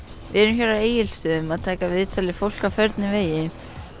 erum hér á Egilsstöðum að taka viðtöl við fólk á förnum vegi